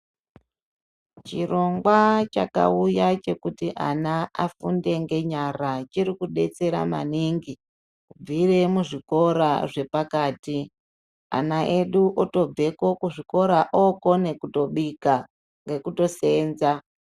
Chirongwa chakauya chekuti ana afunde ngenyara chiri kudetsera maningi. Kubvira muzvikora zvepakati ana edu otobve kuzvikora okona kutobika nekutosenza.